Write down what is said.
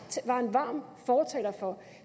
var en varm fortaler for